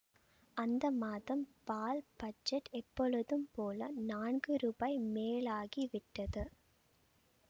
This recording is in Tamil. அந்த மாதம் பால் பட்ஜட் எப்பொழுதும் போல் நான்கு ரூபாய் மேலாகி விட்டது